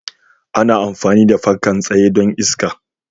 ana amfani da fankan tsaye don iska.